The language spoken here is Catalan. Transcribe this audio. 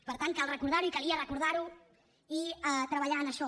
per tant cal recordar ho i calia recordar ho i treballar en això